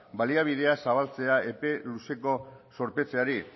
baliabideak zabaltzea epe luzeko zorpetzeari